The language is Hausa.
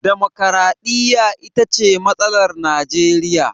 Damakwaraɗiyya ita ce matsalar Najeriya.